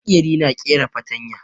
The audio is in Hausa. Maƙeri na ƙera fatarya